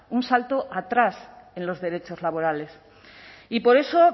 un salto atrás en los derechos laborales y por eso